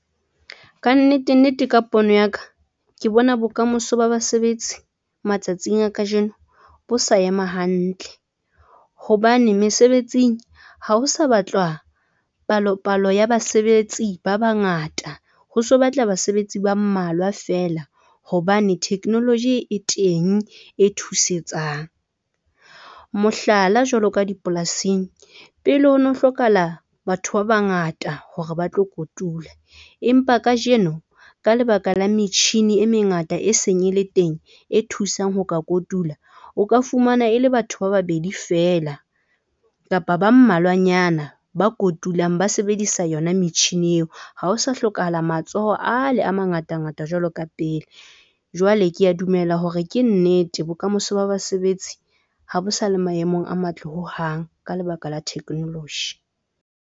Ka nnete, nnete, ka pono ya ka, ke bona bokamoso ba basebetsi matsatsing a kajeno bo sa ema hantle hobane mesebetsing hao sa batlwa palo palo ya basebetsi ba bangata. Ho se ho batlwa basebetsi ba mmalwa fela hobane technology e teng e thusetsang, mohlala jwalo ka dipolasing. Pele ho no hlokahala batho ba bangata hore ba tlo kotula, empa kajeno ka lebaka la metjhini e mengata e seng ele teng e thusang ho ka kotula. O ka fumana e le batho ba babedi fela kapa ba mmalwanyana ba kotulang ba sebedisa yona metjhini eo. Ha o sa hlokahala matsoho a le a mangata ngata jwalo ka pele, jwale ke a dumela hore ke nnete. Bokamoso ba basebetsi ha bo sa le maemong a matle ho hang. Ka lebaka la technology.